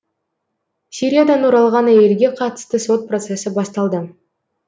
сириядан оралған әйелге қатысты сот процесі басталды